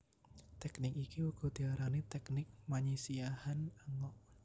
Teknik iki uga diarani teknik manyisiahan angok